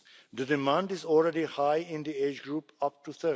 The demand is already high in the age group up to